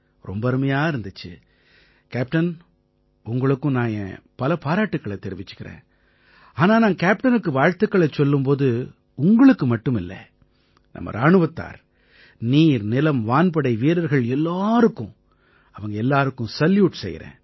ரொம்ப அருமையா இருந்திச்சு கேப்டன் உங்களுக்கும் நான் என் பல பாராட்டுக்களைத் தெரிவிச்சுக்கறேன் ஆனா நான் கேப்டனுக்கு வாழ்த்துக்களைச் சொல்லும் போது உங்களுக்கு மட்டுமில்லை நம்ம இராணுவத்தார் நீர்நிலம்வான்படை வீரர்கள் எல்லாருக்கும் அவங்க எல்லாருக்கும் சல்யூட் செய்யறேன்